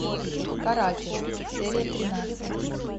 каратель серия тринадцать